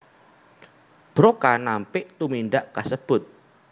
Broca nampik tumindak kasebut